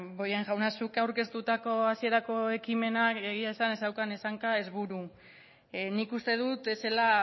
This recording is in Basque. bollain jauna zuk aurkeztutako hasierako ekimenak egia esan ez zeukan ez hanka ez buru nik uste dut ez zela